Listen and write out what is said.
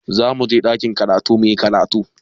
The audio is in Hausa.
Za mu je ɗakin karatu mu yi karatu.